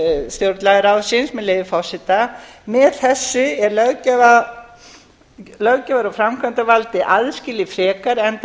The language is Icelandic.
stjórnlagaráðsins með leyfi forseta með þessu er löggjafar og framkvæmdarvaldið aðskilið frekar enda